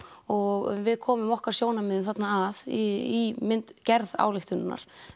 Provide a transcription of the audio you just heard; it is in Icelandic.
og við komum okkar sjónarmiðum þarna að í gerð ályktunarinnar